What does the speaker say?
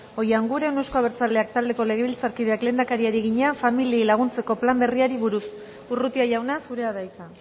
oianguren euzko abertzaleak taldeko legebiltzarkideak lehendakariari egina familiei laguntzeko plan berriari buruz urrutia jauna zurea da hitza